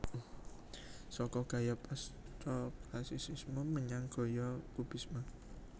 Saka gaya Pasca Classicisme menyang gaya Kubisme